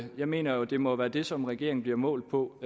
jeg mener jo at det må være det som regeringen bliver målt på